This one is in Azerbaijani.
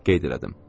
Qeyd elədim.